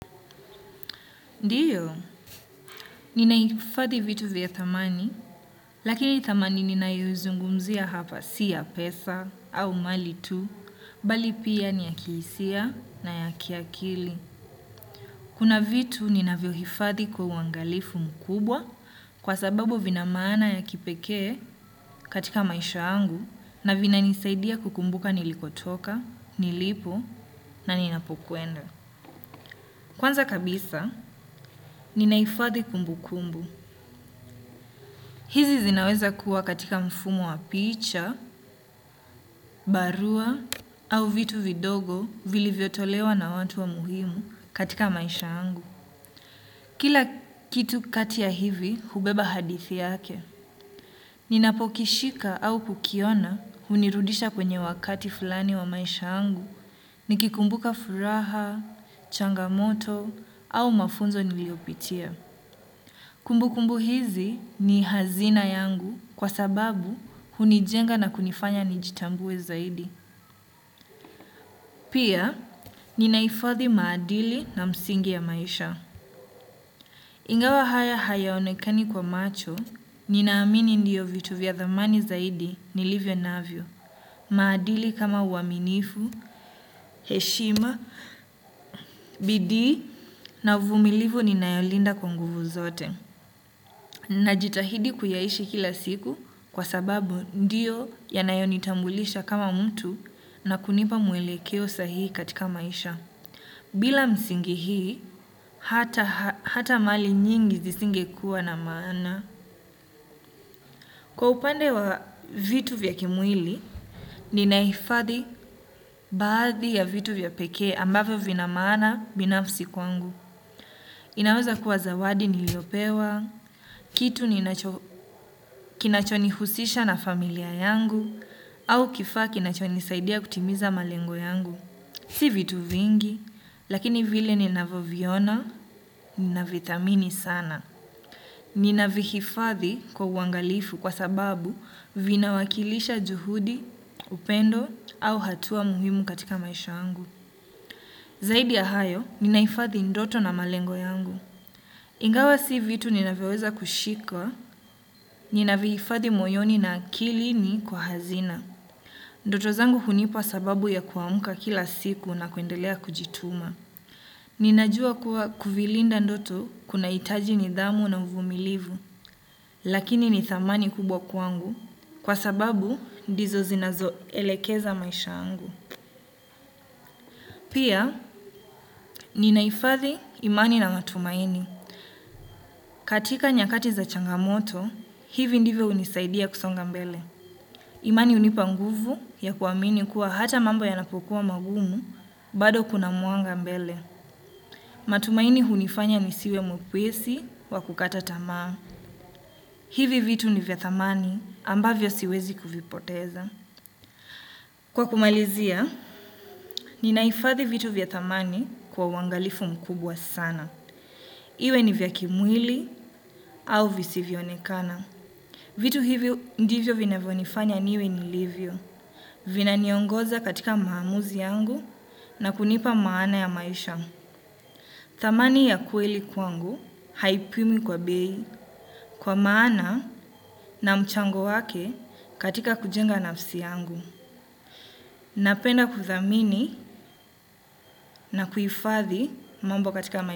Ndiyo, ninahifadhi vitu vya dhamani, lakini dhamani ninayozungumzia hapa si ya pesa au mali tu, bali pia ni ya kihisia na ya kiakili. Kuna vitu ninavyohifadhi kwa uangalifu mkubwa kwa sababu vina maana ya kipekee katika maisha yangu na vinanisaidia kukumbuka nilikotoka, nilipo na ninapokwenda. Kwanza kabisa, ninahifadhi kumbu kumbu. Hizi zinaweza kuwa katika mfumo wa picha, barua, au vitu vidogo vilivyotolewa na watu wa muhimu katika maisha angu. Kila kitu kati ya hivi, hubeba hadithi yake. Ninapokishika au kukiona, hunirudisha kwenye wakati fulani wa maisha angu, nikikumbuka furaha, changamoto, au mafunzo niliopitia. Kumbu kumbu hizi ni hazina yangu kwa sababu hunijenga na kunifanya nijitambue zaidi. Pia ninahifathi maadili na msingi ya maisha. Ingawa haya hayaonekani kwa macho, ninaamini ndiyo vitu vya dhamani zaidi nilivyo navyo. Maadili kama uaminifu, heshima, bidii na uvumilivu ninayolinda kwa nguvu zote. Najitahidi kuyaishi kila siku kwa sababu ndiyo yanayonitambulisha kama mtu na kunipa mwelekeo sahii katika maisha. Bila msingi hii, hata mali nyingi zisingekuwa na maana. Kwa upande wa vitu vya kimwili, ninahifadhi baadhi ya vitu vya pekee ambavyo vina maana binafsi kwangu. Inaweza kuwa zawadi niliyopewa, kitu kinachonihusisha na familia yangu. Au kifaa kinachonisaidia kutimiza malengo yangu si vitu vingi, lakini vile ninavyoviona, ninavithamini sana. Ninavihifadhi kwa uangalifu kwa sababu vinawakilisha juhudi, upendo, au hatua muhimu katika maisha angu. Zaidi ya hayo, ninahifadhi ndoto na malengo yangu. Ingawa si vitu ninavyoweza kushikwa, ninavihifadhi moyoni na akilini kwa hazina. Ndoto zangu hunipa sababu ya kuamka kila siku na kuendelea kujituma. Ninajua kuwa kuvilinda ndoto kunahitaji nidhamu na uvumilivu, lakini ni thamani kubwa kwangu, kwa sababu ndizo zinazoelekeza maisha yangu. Pia, ninahifadhi imani na matumaini. Katika nyakati za changamoto, hivi ndivyo hunisaidia kusonga mbele. Imani hunipa nguvu ya kuamini kuwa hata mambo yanapokuwa magumu bado kuna mwanga mbele. Matumaini hunifanya nisiwe mwepesi wa kukata tamaa. Hivi vitu ni vyavthamani ambavyo siwezi kuvipoteza. Kwa kumalizia, ninahifadhi vitu vya thamani kwa uangalifu mkubwa sana. Iwe ni vya kimwili au visivyoonekana. Vitu hivyo ndivyo vinavyonifanya niwe nilivyo. Vinaniongoza katika maamuzi yangu na kunipa maana ya maisha. Thamani ya kweli kwangu haipimwi kwa bei kwa maana na mchango wake katika kujenga nafsi yangu. Napenda kuthamini na kuhifathi mambo katika maisha.